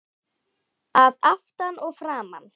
Að aftan, að framan?